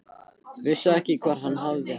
Vissi ekki hvar hann hafði hana.